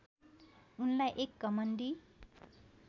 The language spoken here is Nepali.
उनलाई एक घमण्डी